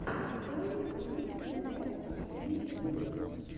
той пудинг тэ вэ последний эпизод